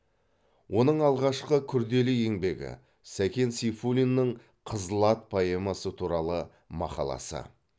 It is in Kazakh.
оның алғашқы күрделі еңбегі сәкен сейфуллиннің қызыл ат поэмасы туралы мақаласы